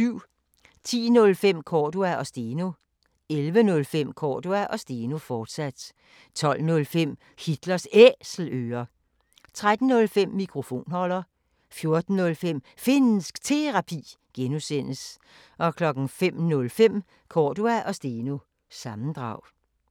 10:05: Cordua & Steno 11:05: Cordua & Steno, fortsat 12:05: Hitlers Æselører 13:05: Mikrofonholder 14:05: Finnsk Terapi (G) 05:05: Cordua & Steno – sammendrag